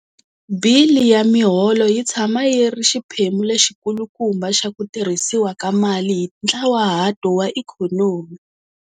Bili ya miholo yi tshama yi ri xiphemu lexikulukumba xa ku tirhisiwa ka mali hi ntlawahato wa ikhonomi.